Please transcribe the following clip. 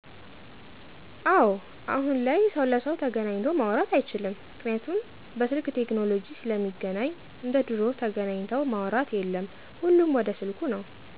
አወ አሁን ላይ ሰው ለሰው ተገናኚቶ ማውራት አይችልምጰምክንያቱም በስልክ ቴክኖለጂ ስለሚገናኚ እንደ ድሮው ተገናኚተው ማውራት የለም ሁሉም ወደ ስልኩ ነው።